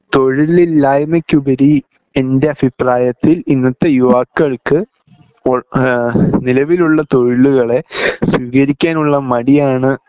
തൊഴിലില്ലായ്മക്കുപരി എൻ്റെ അഭിപ്രായത്തിൽ ഇന്നത്തെ യുവാക്കൾക്ക് ഈഹ് നിലവിലുള്ള തൊഴിലുകളെ സ്വീകരിക്കാൻ ഉള്ള മടിയാണ്